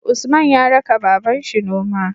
Usman ya raka babanshi noma